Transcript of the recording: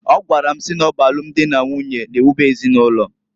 Ọgwara m si n'ọ bụ alum dị na nwunye na ewube ezinụlọ.